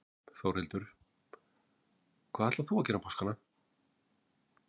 Þórhildur: Hvað ætlar þú að gera um páskana?